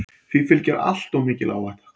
Því fylgi alltof mikil áhætta.